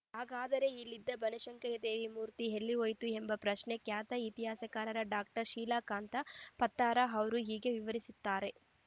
ಹಾಗಾದರೆ ಇಲ್ಲಿದ್ದ ಬನಶಂಕರಿದೇವಿ ಮೂರ್ತಿ ಎಲ್ಲಿ ಹೋಯಿತು ಎಂಬ ಪ್ರಶ್ನೆ ಖ್ಯಾತ ಇತಿಹಾಸಕಾರ ಡಾಕ್ಟರ್ ಶೀಲಾಕಾಂತ ಪತ್ತಾರ ಅವರು ಹೀಗೆ ವಿವರಿಸುತ್ತಾರೆ